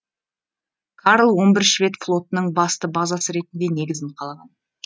карл он бір швед флотының басты базасы ретінде негізін қалаған